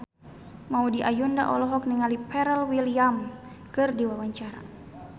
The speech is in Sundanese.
Maudy Ayunda olohok ningali Pharrell Williams keur diwawancara